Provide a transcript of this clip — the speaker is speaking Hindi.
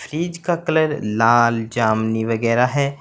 फ्रिज का कलर लाल जामनी वगैरा है।